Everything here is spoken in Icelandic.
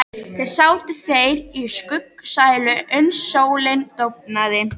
Þar sátu þeir í skuggsælu uns sólin dofnaði.